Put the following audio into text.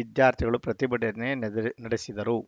ವಿದ್ಯಾರ್ಥಿಗಳು ಪ್ರತಿಭಟನೆ ನಡ್ ನಡೆಸಿದರು